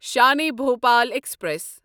Shan-e Bhopal express